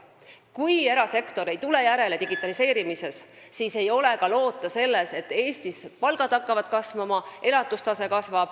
Kui erasektor ei tule digitaliseerimise mõttes järele, siis ei ole ka loota seda, et Eestis hakkavad kasvama palgad ja elatustase.